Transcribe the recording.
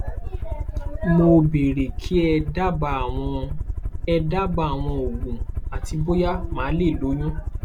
mo bèèrè kí ẹ dábàá àwọn ẹ dábàá àwọn òògùn àti bóyá màá lè lóyún